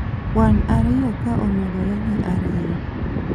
kwan ariyo ka omedore gi ariyo